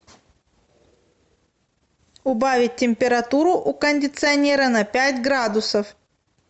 убавить температуру у кондиционера на пять градусов